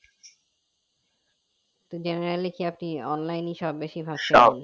তো generally কি আপনি online সব বেশির ভাগ